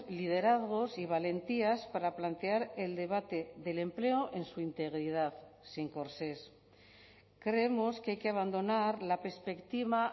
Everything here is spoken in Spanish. liderazgos y valentías para plantear el debate del empleo en su integridad sin corsés creemos que hay que abandonar la perspectiva